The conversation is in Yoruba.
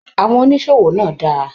Àwọn oníṣòwò náà dára.